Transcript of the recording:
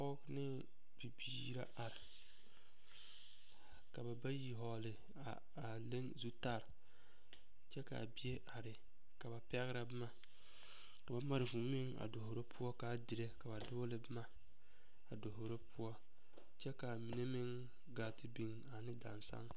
Dɔba bayi la ka kaŋa gbi ka kaŋa dɔɔ kyɛ ka kuruu biŋ o na naŋ gbi nimitɔɔreŋ k o leɛ o puori a tere a zie kaŋa ka kaŋa naŋ dɔɔ meŋ leŋ bompelaa o zu poɔ kyɛ ka kuruu kaŋa meŋ be a o nimitɔɔreŋ ka lɔre lɔɔpelaa be a o puori.